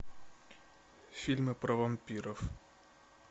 фильмы про вампиров